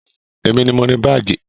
Èmi ni mo ni baagi